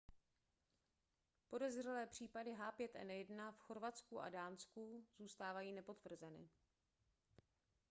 podezřelé případy h5n1 v chorvatsku a dánsku zůstávají nepotvrzeny